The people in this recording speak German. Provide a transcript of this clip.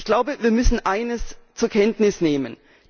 Ich glaube, wir müssen eines zur Kenntnis nehmen.